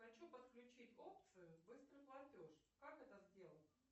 хочу подключить опцию быстрый платеж как это сделать